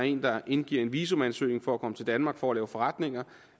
en der indgiver en visumansøgning for at komme til danmark for at lave forretninger